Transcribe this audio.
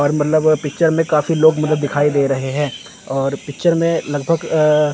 और मतलब पिक्चर में काफी लोग मतलब दिखाई दे रहे हैं और पिक्चर में लगभग अ --